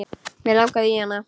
Mig langaði í hana.